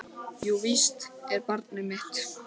Jú, víst er barnið mitt.